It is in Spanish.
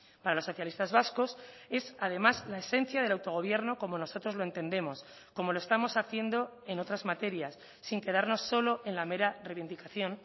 para los socialistas vascos es además la esencia del autogobierno como nosotros lo entendemos como lo estamos haciendo en otras materias sin quedarnos solo en la mera reivindicación